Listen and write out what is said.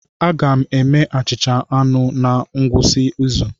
Aga m eme achịcha anụ na ngwụsị izu